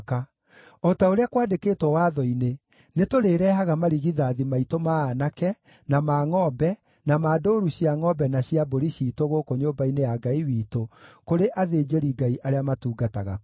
“O ta ũrĩa kwandĩkĩtwo Watho-inĩ, nĩtũrĩĩrehaga marigithathi maitũ ma aanake, na ma ngʼombe, na ma ndũũru cia ngʼombe na cia mbũri ciitũ gũkũ nyũmba-inĩ ya Ngai witũ kũrĩ athĩnjĩri-Ngai arĩa matungataga kuo.